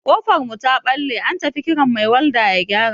Ƙofar mu ta ɓalle, an tafi kiran mai walda ya gyara.